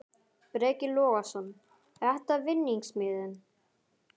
Breki Logason: Er þetta vinningsmiðinn?